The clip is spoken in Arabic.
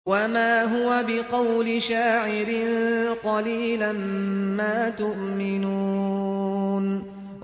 وَمَا هُوَ بِقَوْلِ شَاعِرٍ ۚ قَلِيلًا مَّا تُؤْمِنُونَ